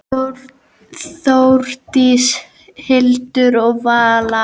Þórdís, Hildur og Vala.